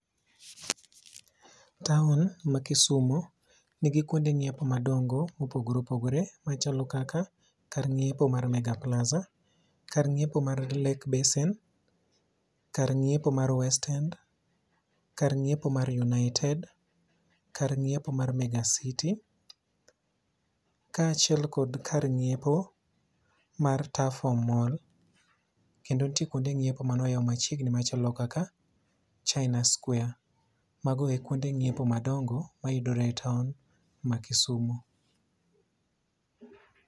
Taon ma Kisumo nigi kuonde ng'iepo madongo mopogore opogore machalo kaka, kar ng'iepo mar Mega plaza, kar ng'iepo mar Lake Basin, kar ng'iepo mar West End, kar ng'iepo mar United, kar ng'iepo mar Mega City kaachiel kod kar nyiepo mar Tuffoam mall. Kendo ntie kuonde ng'iepo manoyaw machiegni machalo kaka China Square. mago e kuonde ng'iepo madongo mayudore e taon ma Kisumu.